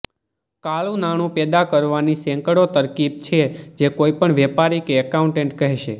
કાળું નાણું પેદા કરવાની સેંકડો તરકીબ છે જે કોઈ પણ વેપારી કે અકાઉન્ટન્ટ કહેશે